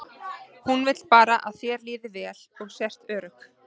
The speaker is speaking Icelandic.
Hún vill bara að þér líði vel og sért örugg.